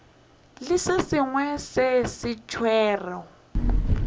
le se sengwe sa seswaro